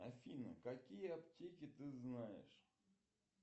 афина какие аптеки ты знаешь